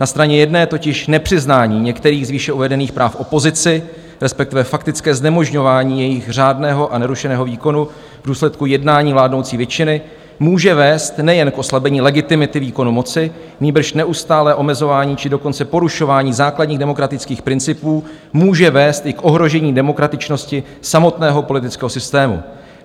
Na straně jedné totiž nepřiznání některých z výše uvedených práv opozici, respektive faktické znemožňování jejich řádného a nerušeného výkonu v důsledku jednání vládnoucí většiny, může vést nejen k oslabení legitimity výkonu moci, nýbrž neustálé omezování, či dokonce porušování základních demokratických principů může vést i k ohrožení demokratičnosti samotného politického systému.